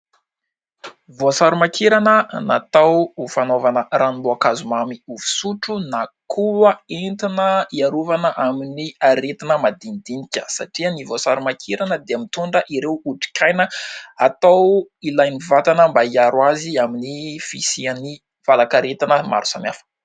Voasarimakirana natao ho fanaovana ranom-boankazo mamy fisotro na koa entina hiarovana amin'ny aretina madinidinika satria ny voasarimakirana dia mitondra ireo otrikaina ilain'ny vatana mba hiaro azy amin'ny fisian'ny valanaretina maro samihafa